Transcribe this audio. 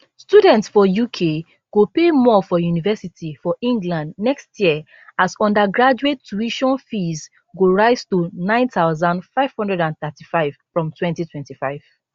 students for uk go pay more for university for england next year as undergraduate tuition fees go rise to 9535 from 2025